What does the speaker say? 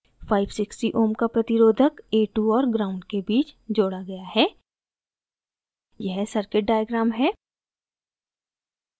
560 ohm का प्रतिरोधक a2 और gnd के बीच जोड़ा गया है यह circuit diagram है